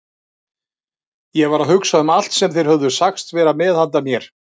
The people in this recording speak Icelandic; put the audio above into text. Ég var að hugsa um allt sem þeir höfðu sagst vera með handa mér.